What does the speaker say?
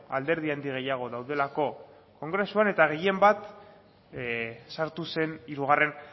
alderdi handi gehiago daudelako kongresuan eta gehien bat sartu zen hirugarren